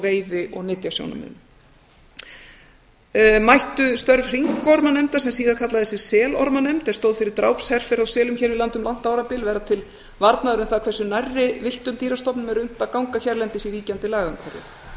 veiði og nytjasjónarmiðum mættu störf hringormanefndar sem síðar kallaði sig selormanefnd er stóð fyrir drápsherferð á selum hér við land um langt árabil verða til varnaðar um það hversu nærri villtum dýrastofnum er unnt að ganga hérlendis í ríkjandi lagaumhverfi